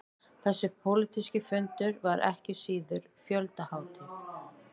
Þessi pólitíski fundur var ekki síður fjöldahátíð